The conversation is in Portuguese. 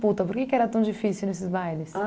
Por que que era tão difícil nesses bailes?